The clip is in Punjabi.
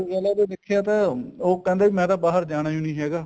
ਦੇਖਿਆ ਤਾ ਉਹ ਕਹਿੰਦਾ ਮੈਂ ਬਾਹਰ ਜਾਣਾ ਹੀ ਨੀ ਹੈਗਾ